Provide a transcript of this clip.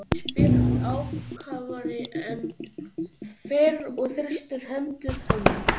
spyr hann ákafari en fyrr og þrýstir hendur hennar.